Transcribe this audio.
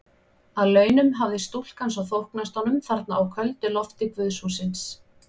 Að launum hafði stúlkan svo þóknast honum þarna á köldu lofti guðshússins.